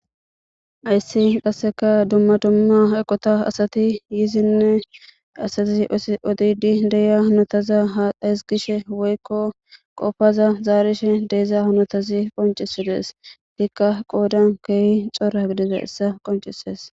Hayssi qasseka dumma dumma eqota asati yizinne asazi odidi deya notaza ha hesgishe woykko qopfaza zaarishe deeza notazi qoncisidees hikka qoodan keehi xora gidiza issa qoncises.